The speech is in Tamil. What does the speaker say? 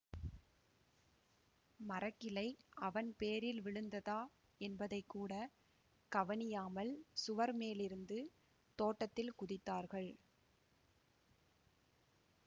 மரக்கிளை அவன் பேரில் விழுந்ததா என்பதைக்கூடக் கவனியாமல் சுவர் மேலிருந்து தோட்டத்தில் குதித்தார்கள்